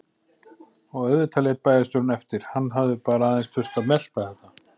Og auðvitað lét bæjarstjórinn eftir, hann hafði bara aðeins þurft að melta þetta.